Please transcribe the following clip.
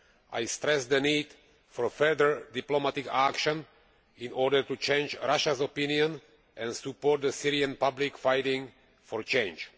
I stress the need for further diplomatic action in order to change Russia's opinion and support the Syrian public fighting for change.